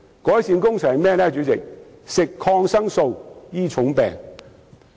便是服食抗生素來醫治重病。